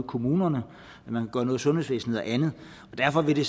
kommunerne i sundhedsvæsenet og andet derfor vil det